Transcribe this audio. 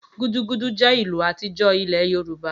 Gudugudu jẹ́ ìlù àtijọ́ ílẹ̀ Yorùbá